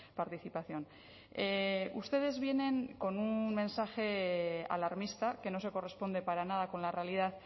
participación ustedes vienen con un mensaje alarmista que no se corresponde para nada con la realidad